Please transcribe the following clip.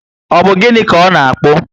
Ọ bu gịnị ka ọ na akpu?